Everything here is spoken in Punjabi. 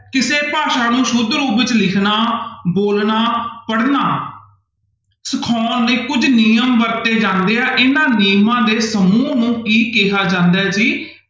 ਕਿਸੇ ਭਾਸ਼ਾ ਨੂੰ ਸੁੱਧ ਰੂਪ ਵਿੱਚ ਲਿਖਣਾ, ਬੋਲਣਾ, ਪੜ੍ਹਨਾ ਸਿਖਾਉਣ ਦੇ ਕੁੱਝ ਨਿਯਮ ਵਰਤੇ ਜਾਂਦੇ ਆ, ਇਹਨਾਂ ਨਿਯਮਾਂ ਦੇ ਸਮੂਹ ਨੂੰ ਕੀ ਕਿਹਾ ਜਾਂਦਾ ਹੈ ਜੀ,